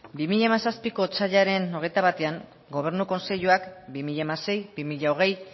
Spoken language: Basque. bi mila hamazazpiko otsailaren hogeita batean gobernu kontseiluak bi mila hamasei bi mila hogei